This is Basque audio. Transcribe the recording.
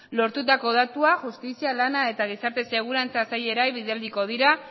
lortutako datua justizia lana eta gizarte segurantza sailei bidaliko dira